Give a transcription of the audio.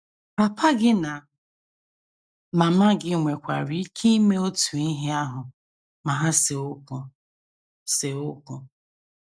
Papa gị na mama gị nwekwara ike ime otu ihe ahụ ma ha see okwu. see okwu.